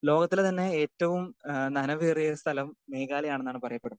Speaker 2 ലോകത്തിലെ തന്നെ ഏറ്റവും നനവേറിയ സ്ഥലം മേഘാലയാണെന്നാണ് പറയപ്പെടുന്നത്.